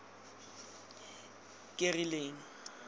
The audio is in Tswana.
kerileng